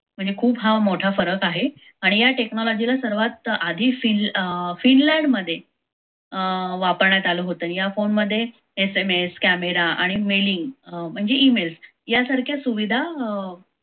म्हणजे खूप हा मोठा फरक आहे. आणि या technology ला सर्वात आधी अं fin finland मध्ये अं वापरण्यात आलं होतं या फोनमध्ये SMS camera आणि mailing म्हणजे email यासारख्या सुविधा अं